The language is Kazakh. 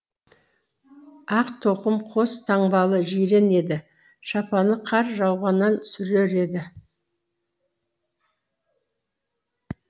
ақ тоқым қос таңбалы жирен еді шапаны қар жауғаннан сүрер еді